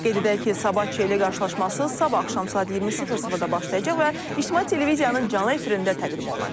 Qeyd edək ki, Sabah Çeliyə qarşılaşması sabah axşam saat 20:00-da başlayacaq və İctimai televiziyanın canlı efirində təqdim olunacaq.